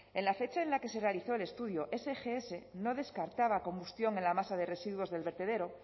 en la fecha en la que se realizó el estudio sgs no descartaba combustión en la masa de residuos del vertedero